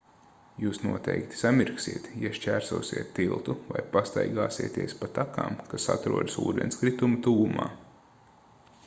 jūs noteikti samirksiet ja šķērsosiet tiltu vai pastaigāsieties pa takām kas atrodas ūdenskrituma tuvumā